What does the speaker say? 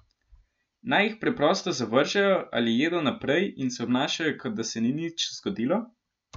Naj jih preprosto zavržejo ali jedo naprej in se obnašajo, kot da se ni nič zgodilo?